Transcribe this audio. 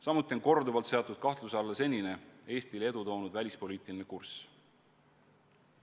Samuti on korduvalt seatud kahtluse alla seni Eestile edu toonud välispoliitiline kurss.